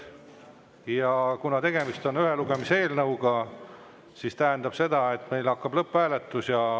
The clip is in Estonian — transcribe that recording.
Ja kuna tegemist on ühe lugemise eelnõuga, siis see tähendab seda, et meil hakkab lõpphääletus.